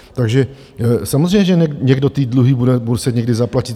Takže samozřejmě že někdo ty dluhy bude muset někdy zaplatit.